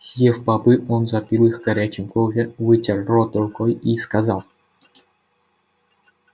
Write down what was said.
съев бобы он запил их горячим кофе вытер рот рукой и сказал